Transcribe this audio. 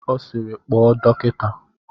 Ọ sịịrị, kpọọ dọkịta!